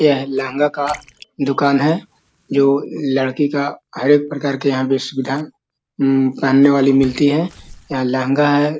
यह लहंगा का दुकान है जो लड़की का हर एक प्रकार की यहाँ पे सुविधा उम्म पहनने वाली मिलती है यहाँ लहंगा हैI